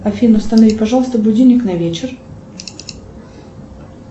афина установи пожалуйста будильник на вечер